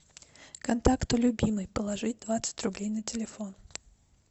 контакту любимый положить двадцать рублей на телефон